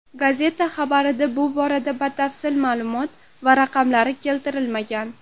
Gazeta xabarida bu borada batafsil ma’lumot va raqamlar keltirilmagan.